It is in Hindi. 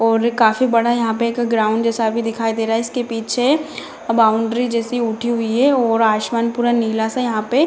और काफी बड़ा यहां पे एक ग्राउंड जैसा भी दिखाई दे रहा है इसके पीछे बाउंड्री जैसे उठी हुई है और आसमान पूरा नीला सा यहां पे --